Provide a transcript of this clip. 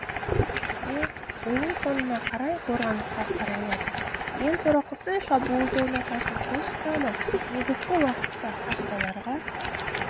де ойын соңына қарай қорғанысқа қарайлады ең сорақысы шабуылды ұнататын қос құрама негізгі уақытта қақпаларға